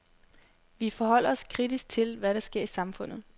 Vi forholder os kritisk til, hvad der sker i samfundet.